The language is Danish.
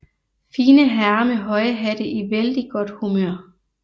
Fine herrer med høje hatte i vældig godt humør